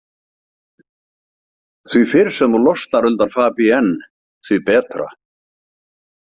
Því fyrr sem þú losnar undan Fabienne því betra.